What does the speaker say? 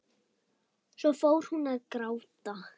Svo fór hún að gráta.